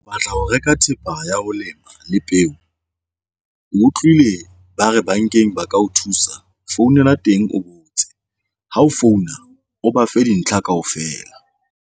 Batla ho reka thepa ya ho lema le peo. Utlwile ba re bankeng ba ka o thusa. Founela teng o botse ha o founa o ba fe dintlha kaofela.